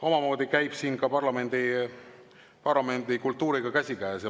Eks see käib siin parlamendikultuuriga käsikäes.